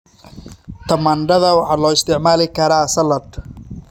Tamaandhada waxaa loo isticmaali karaa saladh.